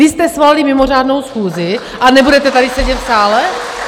Vy jste svolali mimořádnou schůzi a nebudete tady sedět v sále?